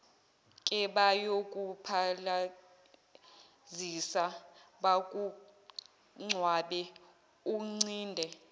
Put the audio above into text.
kebayokuphalazisa bakugcabe uncinde